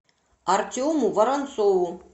артему воронцову